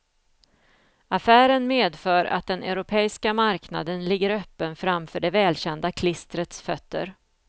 Affären medför att den europeiska marknaden ligger öppen framför det välkända klistrets fötter.